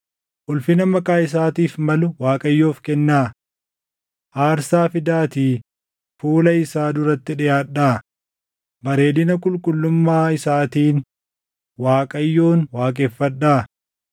Ulfina maqaa isaatiif malu Waaqayyoof kennaa. Aarsaa fidaatii fuula isaa duratti dhiʼaadhaa. bareedina qulqullummaa isaatiin Waaqayyoon waaqeffadhaa.